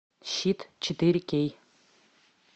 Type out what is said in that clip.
щит четыре кей